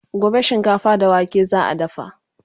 gobe shinkafa da wake za'a dafa